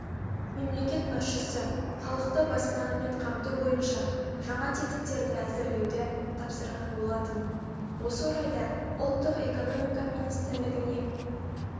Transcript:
мемлекет басшысы халықты баспанамен қамту бойынша жаңа тетіктерді әзірлеуді тапсырған болатын осы орайда ұлттық экономика министрлігіне